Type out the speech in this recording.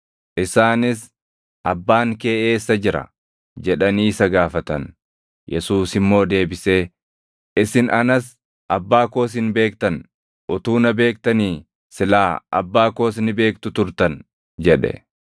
Isaanis, “Abbaan kee eessa jira?” jedhanii isa gaafatan. Yesuus immoo deebisee, “Isin anas, Abbaa koos hin beektan; utuu na beektanii silaa Abbaa koos ni beektu turtan” jedhe.